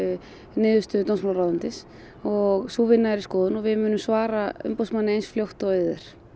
niðurstöðu dómsmálaráðuneytis og sú vinna er í skoðun og við munum svara umboðsmanni eins fljótt og auðið er